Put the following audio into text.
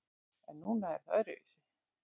En núna er það öðruvísi.